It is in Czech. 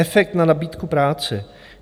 Efekt na nabídku práce.